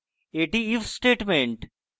এটি if statement